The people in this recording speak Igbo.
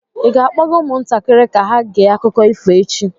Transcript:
Ị ga-akpọga ụmụntakịrị ka ha gee akụkọ ifo echi?